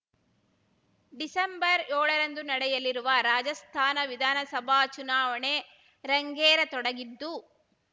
December ಯೋಳರಂದು ನಡೆಯಲಿರುವ ರಾಜಸ್ಥಾನ ವಿಧಾನಸಭಾ ಚುನಾವಣೆ ರಂಗೇರತೊಡಗಿದ್ದು